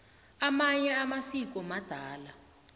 amanye amasiko madala